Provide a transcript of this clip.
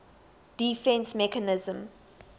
defence mechanism